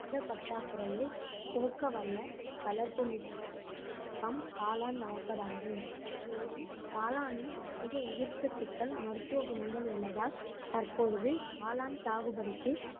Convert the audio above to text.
புரதப் பற்றாக்குறையை போக்கவல்ல வளர்ப்பு மிக்க தொழில்நுட்பம் காளான் வளர்ப்பதாகும் மேலும் காளானில் அதிக உயிர்ச்சத்துக்கள் மருத்துவ குணங்கள் உள்ளதால் தற்பொழுது காளான் சாகுபடிக்கு